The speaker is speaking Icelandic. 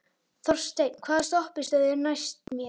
Þorsteinn, hvaða stoppistöð er næst mér?